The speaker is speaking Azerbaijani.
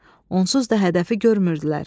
Onsuz da hədəfi görmürdülər.